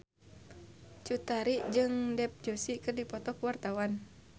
Cut Tari jeung Dev Joshi keur dipoto ku wartawan